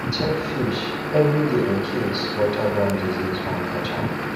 check fish every day incase waterborne disease wan catch am